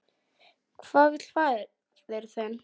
Hvað vill faðir þinn?